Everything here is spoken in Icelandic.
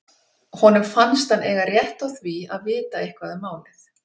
Honum fannst hann eiga rétt á því að vita eitthvað um málið.